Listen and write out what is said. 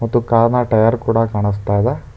ಮತ್ತು ಕಾರ್ ನ ಟೈಯರ್ ಕೂಡ ಕಾಣಿಸ್ತಾ ಇದೆ.